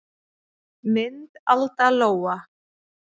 Mynd Alda Lóa.